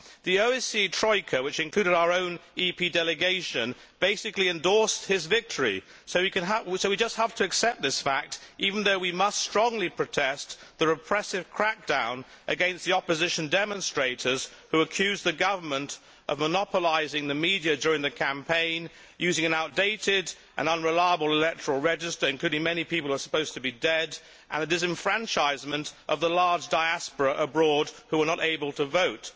The OSCE Troika, which included our own EP delegation, basically endorsed his victory, so we just have to accept this fact, even though we must strongly protest the repressive crackdown against the opposition demonstrators who accused the Government of monopolising the media during the campaign, using an outdated and unreliable electoral register including many people who are supposed to be dead and the disenfranchisement of the large diaspora abroad who were not able to vote.